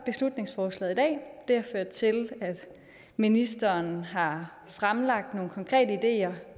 beslutningsforslag i dag det har ført til at ministeren har fremlagt nogle konkrete ideer